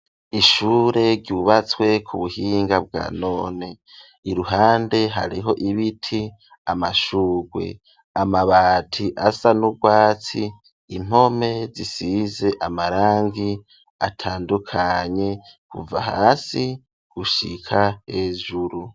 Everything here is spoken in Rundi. Ishure ryubatswe ku buhinga bwa none, iruhande hariho ibiti amashugwe, amabati asa n'urwatsi, impome zisize amarangi atandukanye kuva hasi gushika hejuru.